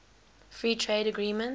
free trade agreement